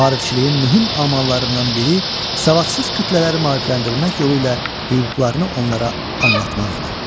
Maarifçiliyin mühüm amallarından biri savadsız kütlələri maarifləndirmək yolu ilə hüquqlarını onlara anlatmaq idi.